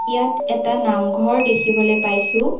ইয়াত এটা নামঘৰ দেখিবলৈ পাইছোঁ।